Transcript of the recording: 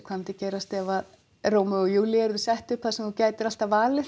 hvað myndi gerast ef Rómeó og Júlía yrði sett upp þar sem þú gætir alltaf valið